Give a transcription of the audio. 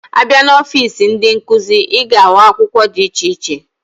Abia na ọfịs ndi nkuzi, iga ahu akwukwo di iche iche.